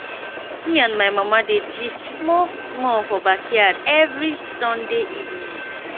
me and my mama dey gist small small for backyard every sunday evening